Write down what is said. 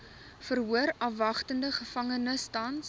verhoorafwagtende gevangenes tans